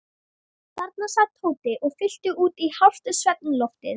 Þarna sat Tóti og fyllti út í hálft svefnloftið.